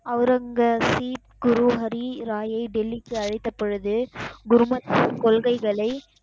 அவுரங்கசீப், குரு ஹரி ராயை டெல்லிக்கு அழைத்த பொழுது குருமத் கொள்கைகளை,